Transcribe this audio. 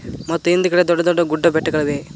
ಮತ್ತು ಹಿಂದ್ಗಡೆ ದೊಡ್ಡ ದೊಡ್ಡ ಗುಡ್ಡ ಬೆಟ್ಟಗಳಿವೆ.